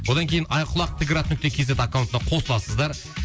одан кейін айқұлақ т град нүкте кз аккаунтына қосыласыздар